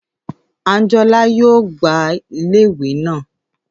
Àńjọlá yóò gbá iléèwé naa